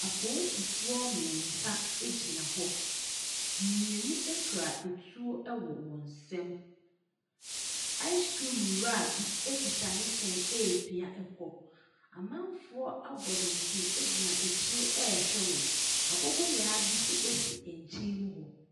Apoosifoɔ mmiɛnsa egyina hɔ, mmienu ekura etuo ɛwɔ wɔnsɛm. aasekrim wura bi ekita nehyɛn epia kɔ. Amanfoɔ abɔ dɔnpem egyina akyire ɛhwɛ wɔn, aboboyaa bi so esi ɛnkyɛn mu hɔ.